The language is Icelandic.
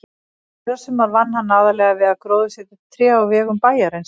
Í fyrrasumar vann hann aðallega við að gróðursetja tré á vegum bæjarins.